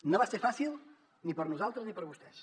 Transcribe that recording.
no va ser fàcil ni per a nosaltres ni per a vostès